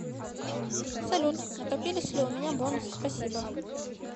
салют накопились ли у меня бонусы спасибо